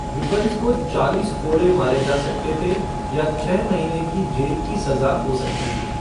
Gibbons को चालीस कोड़े मारे जा सकते थे या छः महीने की जेल की सजा हो सकती थी।